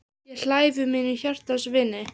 Þú varst svo falleg og yndisleg.